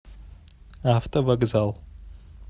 автовокзал